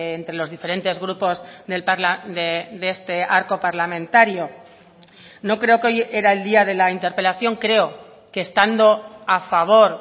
entre los diferentes grupos de este arco parlamentario no creo que hoy era el día de la interpelación creo que estando a favor